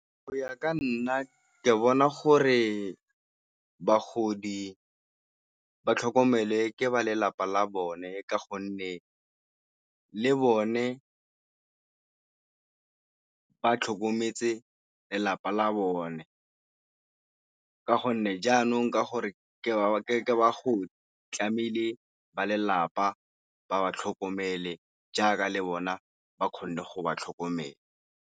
Go ya ka nna ke bona gore bagodi ba tlhokomele ke ba lelapa la bone ka gonne le bone ka tlhokometse lelapa la bone, ka gonne jaanong ka gore ke bagodi tlamehile ba lelapa ba ba tlhokomele jaaka le bona ba kgone go ba tlhokomela.